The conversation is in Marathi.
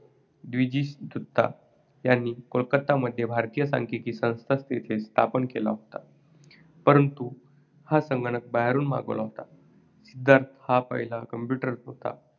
द्विजिश दत्ता यांनी कोलकत्तामध्ये भारतीय सांख्यिकी संस्था येथे स्थापन केला होता. परंतु हा संगणक बाहेरून मागवला होता. सिद्धार्थ हा पहिला computer होता